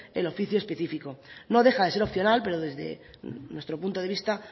el oficio específico no deja de ser opcional pero desde nuestro punto de vista